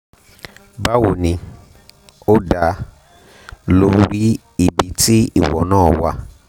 bawo ni o da ibi ti iwo naa wa